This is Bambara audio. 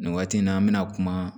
Nin waati in na an bɛna kuma